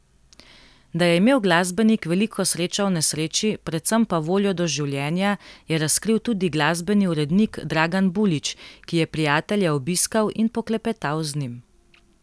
Da je imel glasbenik veliko srečo v nesreči, predvsem pa voljo do življenja, je razkril tudi glasbeni urednik Dragan Bulič, ki je prijatelja obiskal in poklepetal z njim.